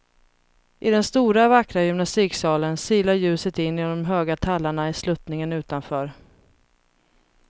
I den stora vackra gymnastiksalen silar ljuset in genom de höga tallarna i sluttningen utanför.